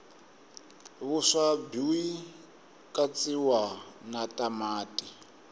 vuswa bwikatsiwa natamati